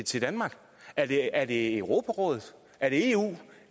til danmark er det er det europarådet er det eu